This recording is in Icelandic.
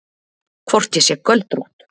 Hvort ég sé göldrótt.